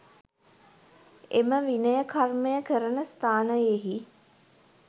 එම විනය කර්මය කරන ස්ථානයෙහි